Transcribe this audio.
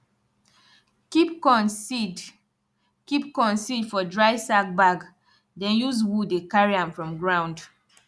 keep corn seed keep corn seed for dry sack bag den use wood dey carry am from ground